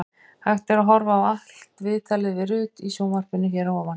Hægt er að horfa á allt viðtalið við Rut í sjónvarpinu hér að ofan.